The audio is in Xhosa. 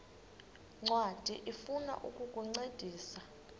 ncwadi ifuna ukukuncedisa